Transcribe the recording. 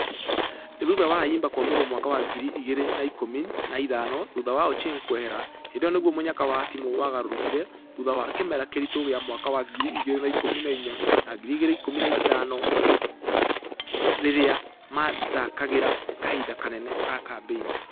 Nĩthutha wa ayimba kũamũrwo mwaka wa ngiri igĩrĩ na ikũmi na ithano thutha wa ochieng kwehera, hĩndĩ ĩyo nĩguo mũnyaka wa timũ wagarũrũkire. Thutha wa kĩmera kĩritu gĩa mwaka wa ngiri igĩrĩ na ikũmi na inya na ngiri igĩrĩ ikũmi na ithano rĩrĩa mathakĩraga.......kahinda kanene ga kambeini.